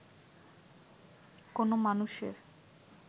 কোনো মানুষের